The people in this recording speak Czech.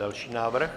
Další návrh.